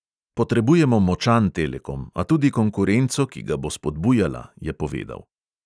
Potrebujemo močan telekom, a tudi konkurenco, ki ga bo spodbujala, je povedal.